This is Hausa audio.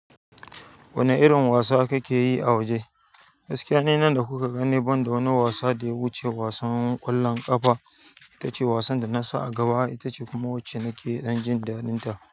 Wane irin wasa kake yi a waje? Gaskiya ni nan da kuka gane banda wani wasa da ya wuce wasan ƙwallon ƙafa. Ita ce wasan da na sa a gaba, ita ce kuma wacce nake dan jin daɗinta.